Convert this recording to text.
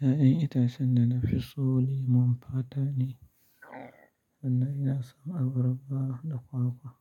Ya'yan itacen na da fiso lemon fata ne, sannan ina son abarba da kwakwa,